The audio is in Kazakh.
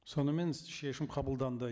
сонымен шешім қабылданды